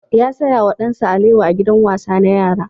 Ya saya wa ɗansa alewa a gidan wasa na yara.